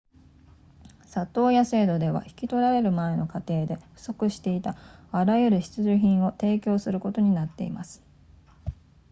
里親制度では引き取られる前の家庭で不足していたあらゆる必需品を提供することになっています